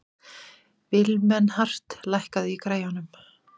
Vilmenhart, lækkaðu í græjunum.